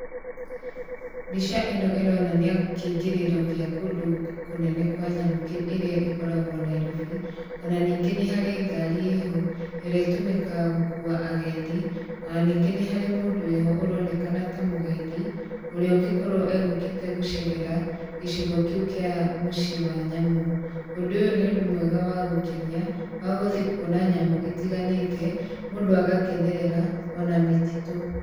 Mbica ĩno ĩronania kĩingĩrĩro gĩa kũndũ kũnene kwa nyamũ kĩ ĩrĩa ĩkoragwo Nairobi, o na ningĩ nĩ harĩ ngari ĩho ĩrĩa ĩtũmĩkaga gũkua agendi, ona ningĩ nĩ harĩ mũndũ wĩho ũronekana ta mũgendi, ũrĩa ũngĩkorwo egũkĩte gũcerera, gĩcigo kĩu kĩa mũciĩ wa nyamũ, ũndũ ũyũ nĩ ũndũ mwega wa gũkenia wa gũthiĩ kwona nyamũ itiganĩte, mũndũ agakenerera ona mĩtitũ